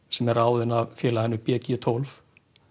sem er ráðinn af félaginu b g tólf